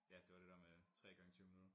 Ja det var det dér med 3 gange 20 minutter